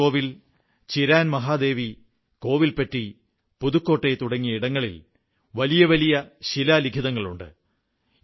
മനാർ കോവിൽ ചിരാൻമഹാദേവി കോവിൽപട്ടി പുതുക്കോട്ടൈ തുടങ്ങിയ ഇടങ്ങളിൽ വലിയ വലിയ ശിലാലിഖിതങ്ങളുണ്ട്